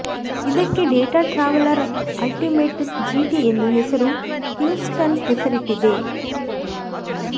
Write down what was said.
ಇದಕ್ಕೆ Data Traveler Ultimate GT ಎಂದು ಹೆಸರು ಕಿಂಗಸ್ಟನ್ ಹೆಸರಿಟ್ಟಿದೆ